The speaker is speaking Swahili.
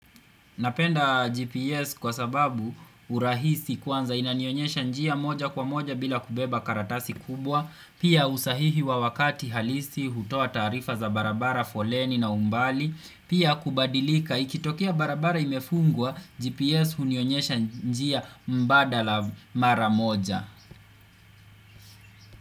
Napenda GPS kwa sababu urahisi kwanza inanionyesha njia moja kwa moja bila kubeba karatasi kubwa, pia usahihi wa wakati halisi hutua tarifa za barabara foleni na umbali, pia kubadilika ikitokia barabara imefungwa GPS unionyesha njia mbada la mara moja.